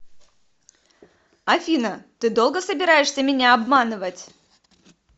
афина ты долго собираешься меня обманывать